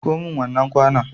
Miko min wannan kwanon.